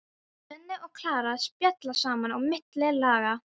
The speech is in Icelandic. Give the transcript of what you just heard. Svenni og Klara spjalla saman á milli laga.